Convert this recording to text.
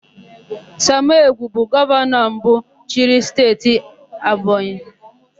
Samụ Egwu bụ gọvanọ mbụ chịrị Steeti Ebonyi.